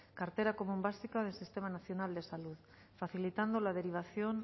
cartera común básica del sistema nacional de salud facilitando la derivación